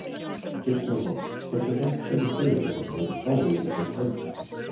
Kristján Már: Hversu hratt sérðu fyrir þér að það verði farið í þessar framkvæmdir?